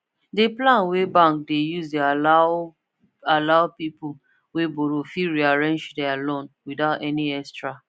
d plan wey bank de use de allow allow people wey borrow fit rearrange their loan without any extra